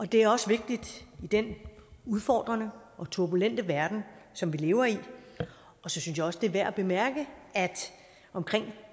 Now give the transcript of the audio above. det er også vigtigt i den udfordrende og turbulente verden som vi lever i så synes jeg også det er værd at bemærke at omkring